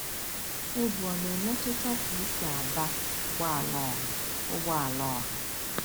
Egwu ọ na-emetụta ka I si aba ụgbọ ala ọha. ụgbọ ala ọha.